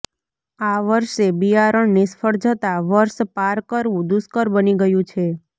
આ વર્ષે બિયારણ નિષ્ફળ જતા વર્ષ પાર કરવું દૂષ્કર બની ગયું છે